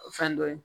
Fɛn dɔ ye